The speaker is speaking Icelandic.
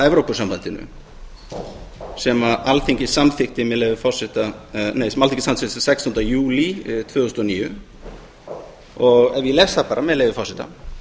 evrópusambandinu sem alþingi samþykkti sextánda júlí tvö þúsund og níu ef ég les það bara með leyfi forseta